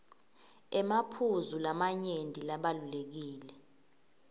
emaphuzu lamanyenti labalulekile